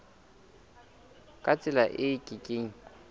ka tsela e ke keng